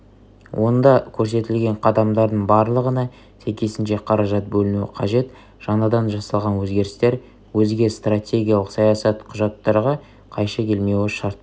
онда көрсетілген қадамдардың барлығына сәйкесінше қаражат бөлінуі қажет жаңадан жасалған өзгерістер өзге стратегиялық саясат құжаттарға қайшы келмеуі шарт